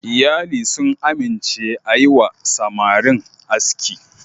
Iyali sun amince a yi wa samarin aski.